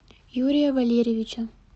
юрия валерьевича